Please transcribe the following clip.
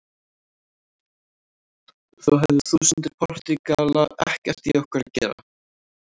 Þó höfðu þúsundir Portúgala ekkert í okkur að gera.